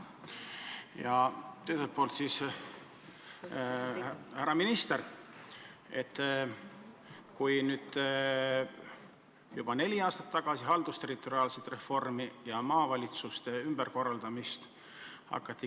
Ja teiseks: härra minister, nüüd juba neli aastat tagasi hakati käsitlema haldusterritoriaalset reformi ja maavalitsuste ümberkorraldamist.